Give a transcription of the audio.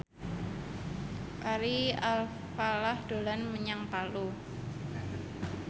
Ari Alfalah dolan menyang Palu